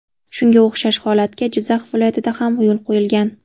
Shunga o‘xshash holatga Jizzax viloyatida ham yo‘l qo‘yilgan.